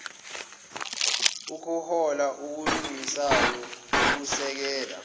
ukuhola okulungisayo ukusekela